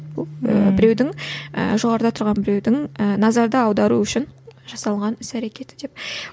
бұл і біреудің і жоғарыда тұрған біреудің ііі назарды аудару үшін жасалған іс әрекеті деп